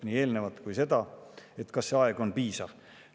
kas see aeg on piisav.